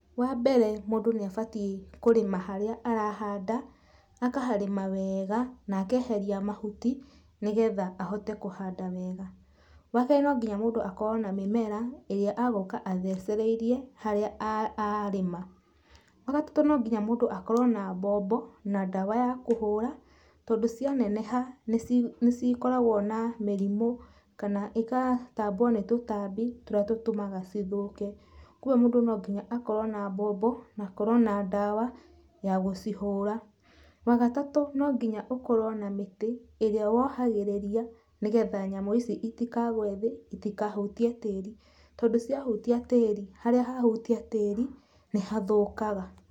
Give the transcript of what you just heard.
Wa mbere mũndũ nĩ abatiĩ kũrĩma harĩa arahanda, akaharĩma wega na akeheria mahuti nĩgetha ahote kũhanda wega. Wa kerĩ no nginya mũndũ akorwo na mĩmera ĩrĩa agũka athecereirie harĩa arĩa, wagatatũ no nginya mũndũ akorwo na bombo na dawa ya kũhũra tondũ cia neneha nĩ cikoragwo na mĩrimũ kana igatambwo nĩ tũtambi tũrĩa tũtũmaga cithũke. ũguo mũndũ no nginya akorwo na bombo na akorwo na dawa ya gũcihũra. Wagatatũ no nginya ũkorwo na mĩtĩ ĩrĩa wohagĩrĩria nĩgetha nyamũ ici itikagwe thĩ itikahutie tĩri tondũ cia hutia tĩri, harĩa hahutia tĩri nĩ hathũkaga.